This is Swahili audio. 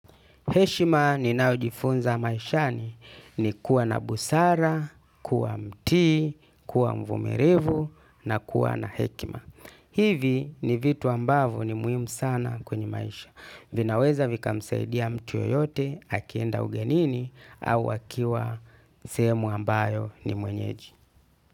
Heshima ni naojifunza maishani ni kuwa na busara, kuwa mti, kuwa mvumilivu na kuwa na hekima. Hivi ni vitu ambavyo ni muhimu sana kwenye maisha. Vina weza vika msaidia yoyote akienda ugenini au akiwa sehemu ambayo ni mwenyeji.